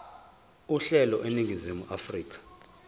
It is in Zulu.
uhlelo eningizimu afrika